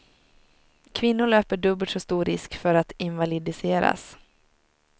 Kvinnor löper dubbelt så stor risk för att invalidiseras.